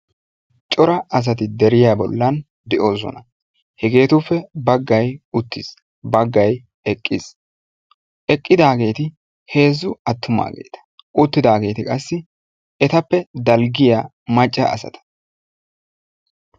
Cora asati deriya bollani de'ossonna. hegettuppe baggay uttis. baggay eqqis. eqqidagetti heezzu atummagetta uttidagetti. qassi ettappe dalggiyaa macca asatta.